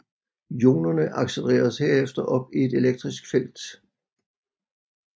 Ionerne accelereres herefter op i et elektrisk felt